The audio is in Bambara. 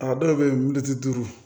A dɔw bɛ yen militi duuru